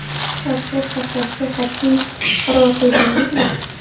Parhez saqlashga qat’iy qaror qildingizmi?